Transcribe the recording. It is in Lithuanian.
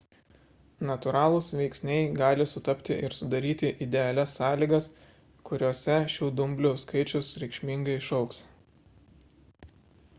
natūralūs veiksniai gali sutapti ir sudaryti idealias sąlygas kuriose šių dumblių skaičius reikšmingai išaugs